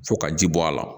Fo ka ji bɔ a la